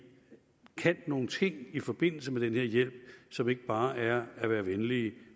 kan nogle ting i forbindelse med den her hjælp som ikke bare er at være venlige